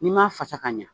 N'i m'a fasa ka ɲa